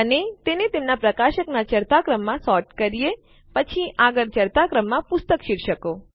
અને તેને તેમના પ્રકાશકનાં ચઢતા ક્રમમાં સોર્ટ કરીએ પછી આગળ ચઢતા ક્રમમાં પુસ્તક શીર્ષકો